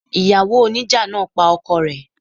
Ìyàwó oníjà náà pa ọkọ rẹ̀.